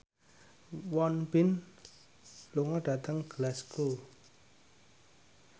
Won Bin lunga dhateng Glasgow